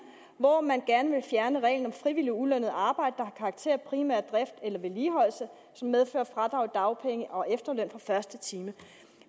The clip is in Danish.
hvor man gerne ville fjerne reglen om frivilligt ulønnet arbejde der har karakter af primær drift eller vedligeholdelse som medfører fradrag i dagpenge og efterløn fra første time